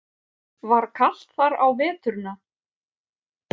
Var kalt þar á veturna?